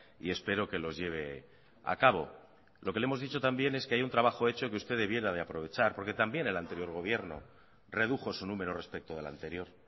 y espero que los lleve a cabo lo que le hemos dicho también es que hay un trabajo hecho que usted debiera de aprovechar porque también el anterior gobierno redujo su número respecto del anterior